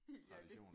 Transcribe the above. Ja det